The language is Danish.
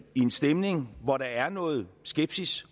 en stemning hvor der er noget skepsis